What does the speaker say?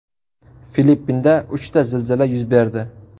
Filippinda uchta zilzila yuz berdi.